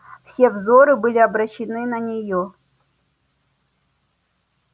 все взоры были обращены на неё